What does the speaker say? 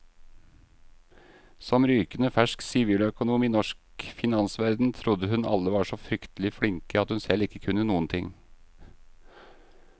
Som rykende fersk siviløkonom i norsk finansverden trodde hun alle var så fryktelig flinke, at hun selv ikke kunne noen ting.